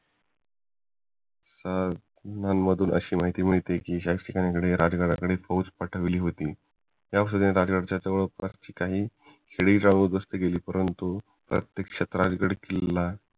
आह अशी माहिती मिळते कि शाहिस्तखानाने राजगडावरती फौज पाठवली होती त्यावेळी राजगडाजवळ काही गावं उध्वस्त केली परंतु प्रत्यक्ष राजगड किल्ला